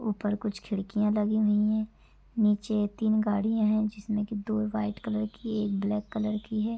ऊपर कुछ खिड़कियां लगी हुई है नीचे तीन गाड़ियां है जिसमें की दो वाइट कलर की एक ब्लैक कलर की है।